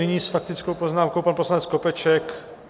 Nyní s faktickou poznámkou pan poslanec Skopeček.